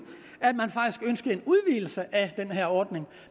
at en udvidelse af den her ordning